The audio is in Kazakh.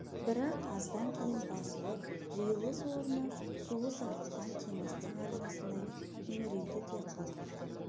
бірақ аздан кейін басылып жиылыс орны суы сарқылған теңіздің арнасындай үңірейді де қалды